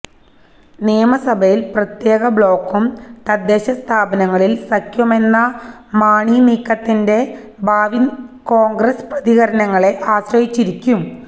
നിയമസഭയിൽ പ്രത്യേക ബ്ലോക്കും തദ്ദേശ സ്ഥാപനങ്ങളിൽ സഖ്യവുമെന്ന മാണി നീക്കത്തിന്റെ ഭാവി കോൺഗ്രസ് പ്രതികരണങ്ങളെ ആശ്രയിച്ചിരിക്കും